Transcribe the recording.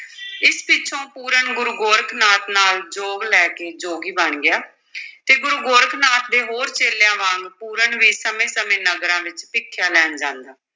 ਇਸ ਪਿੱਛੋਂ ਪੂਰਨ ਗੁਰੂ ਗੋਰਖ ਨਾਥ ਨਾਲ ਜੋਗ ਲੈ ਕੇ ਜੋਗੀ ਬਣ ਗਿਆ ਤੇ ਗੁਰੂ ਗੋਰਖ ਨਾਥ ਦੇ ਹੋਰ ਚੇਲਿਆਂ ਵਾਂਗ ਪੂਰਨ ਵੀ ਸਮੇਂ-ਸਮੇਂ ਨਗਰਾਂ ਵਿੱਚ ਭਿਖਿਆ ਲੈਣ ਜਾਂਦਾ।